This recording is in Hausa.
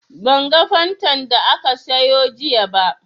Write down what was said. Ban ga Fantan da ka sayo jiya ba